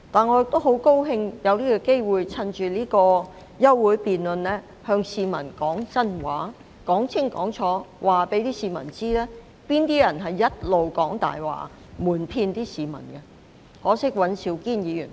我也十分高興有機會，藉着今次的休會辯論，向市民說真話，清清楚楚告訴市民，是哪些人一直在講大話、瞞騙市民——可惜尹兆堅議員不在席。